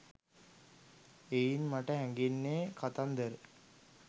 එයින් මට හැඟෙන්නේ කතන්දර